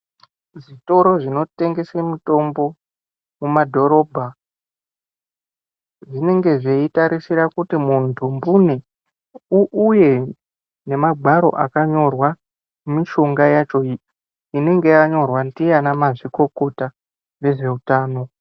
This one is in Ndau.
Zvitoro zvinotengese mitombo mumadhorobha zvinenge zveitarisira kuti muntu mbune uuye nemagwaro akanyorwa mishonga yacho inenge yanyorwa ndiana mazvikokota vezveutano.